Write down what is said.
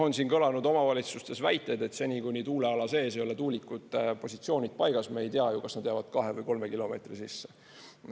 On siin kõlanud omavalitsustes väiteid, et seni kuni tuuleala sees ei ole tuulikute positsioonid paigas, me ei tea ju, kas nad jäävad kahe või kolme kilomeetri sisse.